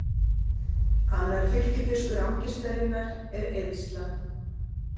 Annar fylgifiskur angistarinnar er eyðslan.